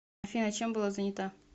афина чем была занята